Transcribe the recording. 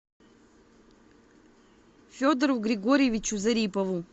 федору григорьевичу зарипову